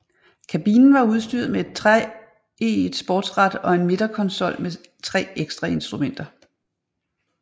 Kabinen var udstyret med et treeget sportsrat og en midterkonsol med tre ekstrainstrumenter